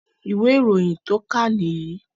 Ìwé ìròyìn tó kà nìyìí